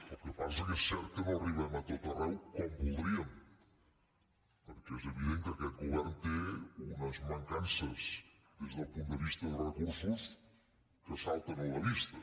el que passa és que és cert que no arribem a tot arreu com voldríem perquè és evident que aquest govern té unes mancances des del punt de vista de recursos que salten a la vista